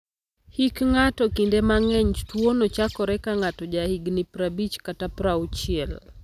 Hik ng'ato: Kinde mang'eny, tuwono chakore ka ng'ato jahigini 50 kata 60.